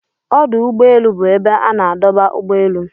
Ọdụ úgbọélụ́ bụ ebe a na-adọba ụ́gbọ elụ.